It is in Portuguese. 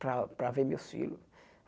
para para ver meus filhos.